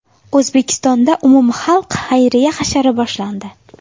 O‘zbekistonda umumxalq xayriya hashari boshlandi.